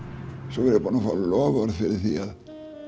svo var ég búinn að fá loforð fyrir því að